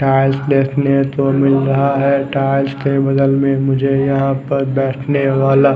tiles देखने को मिल रहा है टाइल्स के बगल में मुझे यहाँ पर बैठने वाला--